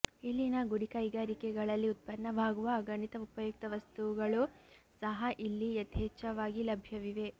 ಇಲ್ಲಿನ ಗುಡಿಕೈಗಾರಿಕೆಗಳಲ್ಲಿ ಉತ್ಪನ್ನವಾಗುವ ಅಗಣಿತ ಉಪಯುಕ್ತ ವಸ್ತೂಗಳೂ ಸಹ ಇಲ್ಲಿ ಯಥೇಚ್ಚವಾಗಿ ಲಭ್ಯವಿವೆ